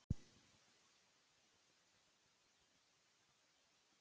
Þórarna, kanntu að spila lagið „Ég þekki þig“?